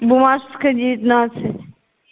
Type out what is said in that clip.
бумашевская девятнадцать